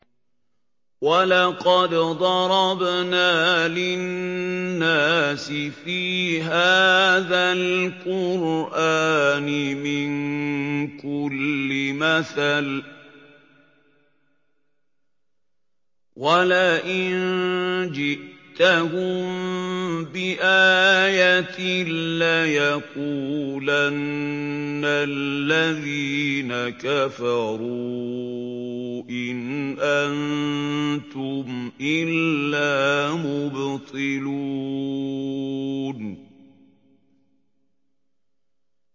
وَلَقَدْ ضَرَبْنَا لِلنَّاسِ فِي هَٰذَا الْقُرْآنِ مِن كُلِّ مَثَلٍ ۚ وَلَئِن جِئْتَهُم بِآيَةٍ لَّيَقُولَنَّ الَّذِينَ كَفَرُوا إِنْ أَنتُمْ إِلَّا مُبْطِلُونَ